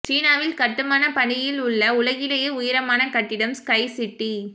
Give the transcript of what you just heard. சீனாவில் கட்டுமான பணியில் உள்ல உலகிலேயே உயரமான கட்டிடம் ஸ்கை சிட்டி